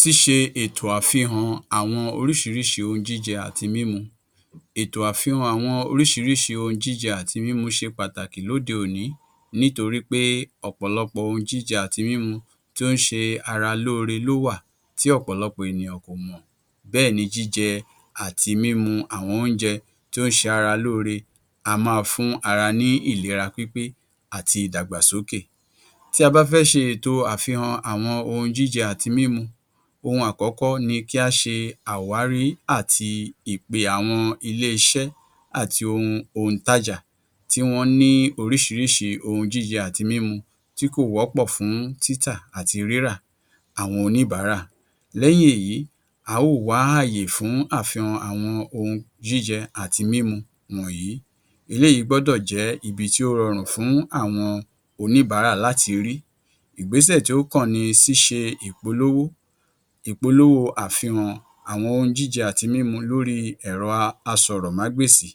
Ṣíṣe ètò àfihàn àwọn oríṣiríṣi ohun jíjẹ àti mímu Ètò àfihàn àwọn oríṣiríṣi ohun jíjẹ àti mímu ṣe pàtàkì lóde òní nítorí pé ọ̀pọ̀lọpọ̀ ohun jíjẹ àti mímu tí ó ń ṣe ara lóore ló wà tí ọ̀pọ̀lọpọ ènìyàn kò mọ̀ bẹ́ẹ̀ ni jíjẹ àti mímu àwọn oúnjẹ tí ó ń ṣe ara lóore á máa fún ara ní ìlera pípé àti ìdàgbàsókè. Tí a bá fẹ́ ṣe ètò àfihàn àwọn ohun jíje àti mímu, ohun àkọ́kọ́ ni kí á ṣe àwárí àti ìpè àwọn ilé-iṣẹ́ àti ohun òǹtajà tí wọ́n ní oríṣiríṣi ohun jíjẹ àti mímu tí kò wọ́pọ̀ fún títà àti rírà àwọn oníbàárà. Lẹ́yìn èyí a ó wá àyè fún àfihàn àwọn ohun jíjẹ àti mímu wọ̀nyí. Eléyìí gbọ́dọ̀ jẹ́ ibi tí ó rọrùn fún àwọn oníbàárà láti rí. Ìgbésẹ̀ tí ó kàn ni ṣíṣe ìpolówó ìpolówó àfihàn àwọn ohun jíje àti mímu lóri ẹ̀rọ asọ̀rọ̀mágbèsì,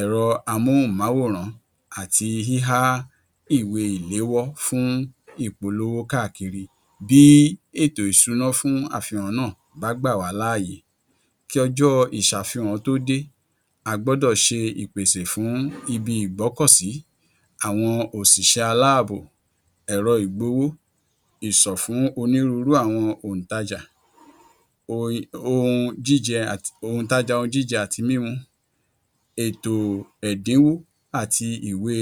ẹ̀rọ amóhùnmáwòrán àti híhá ìwé ìléwọ́ fún ìpolówó káàkiri. Bí ètò ìṣúná fún àfihàn náà bá gbà wàá láàyè kí ọjọ́ ìṣàfihàn tó dé, a gbọ́dọ̀ ṣe ìpèsè fún ibi ìgbọ́kọ̀sí, àwọn òṣìṣẹ́ aláàbò, ẹ̀rọ ìgbowó, ìsọ̀ fún onírúurú àwọn òǹtajà um ohun jíjẹ òǹtajà ohun jíjẹ àti mímu, ètò ẹ̀dínwó àti ìwé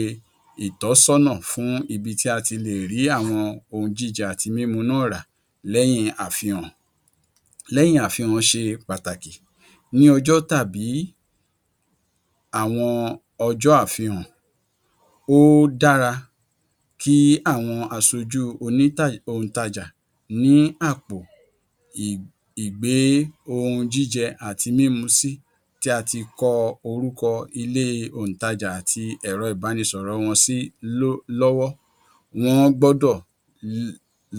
ìtọ́sọ́nà fún ibi tí a tì lè rí àwọn ohun jíjẹ àti mímu náà rà lẹ́yìn àfihàn lẹ́yìn àfihàn ṣe pàtàkì. Ní ọjọ́ tàbí àwọn ọjọ́ àfihàn, ó dára kí àwọn aṣojú um òǹtajà ní àpò ì ìgbé-ohun-jíjẹ àti mímu sí tí a ti kọ orúkọ ilé òǹtajà àti ẹ̀rọ ìbánisọ̀rọ̀ wọn sí ló lọ́wọ́. Wọ́n gbọ́dọ̀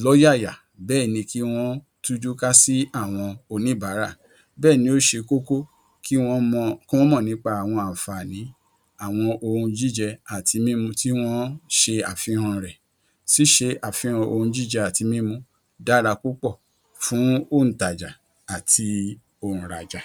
lọ́yàyà bẹ́ẹ̀ ni ki wọ́n tújúká sí àwọn oníbàárà bẹ́ẹ̀ ni ó ṣe kókó kí wọ́n mọ k’ọ́n mọ̀ nípa àwọn àǹfààní àwọn ohun jíjẹ àti mímu tí wọ́n ń ṣe àfihàn rẹ̀. Ṣíṣe àfihàn ohun jíjẹ àti mímu dára púpọ̀ fún òǹtajà àti òǹrajà.